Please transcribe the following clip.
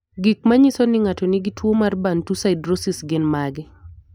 Gik manyiso ni ng'ato nigi tuwo mar Bantu siderosis gin mage?